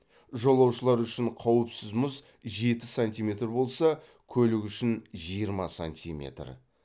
жолаушылар үшін қауіпсіз мұз жеті сантиметр болса көлік үшін жиырма сантиметр